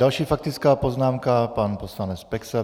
Další faktická poznámka, pan poslanec Peksa.